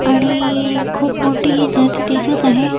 आणि खूप मोठी ही जाची दिसत आहे.